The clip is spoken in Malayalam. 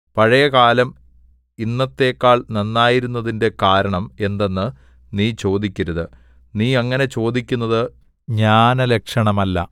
പഴയകാലം ഇന്നത്തെക്കാൾ നന്നായിരുന്നതിന്റെ കാരണം എന്തെന്ന് നീ ചോദിക്കരുത് നീ അങ്ങനെ ചോദിക്കുന്നത് ജ്ഞാനലക്ഷണമല്ല